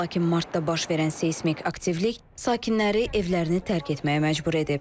Lakin martda baş verən seysmik aktivlik sakinləri evlərini tərk etməyə məcbur edib.